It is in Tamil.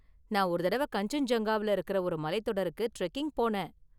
நான் ஒரு தடவ கன்சென்ஜுங்கா​வுல இருக்கற ஒரு மலைத்​தொடருக்கு ட்ரெக்கிங் போனேன்.